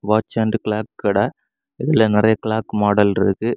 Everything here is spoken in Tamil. வாட்ச் அண்ட் கிளாக் கட இதுல நிறைய கிளாக் மாடல் இருக்கு.